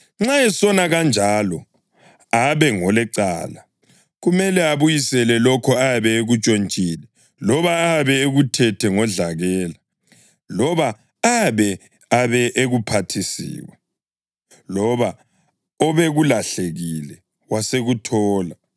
nxa esona kanjalo abe ngolecala, kumele abuyisele lokho ayabe ekuntshontshile loba ayabe ekuthethe ngodlakela, loba ayabe abe ekuphathisiwe, loba obekulahlekile wasekuthola,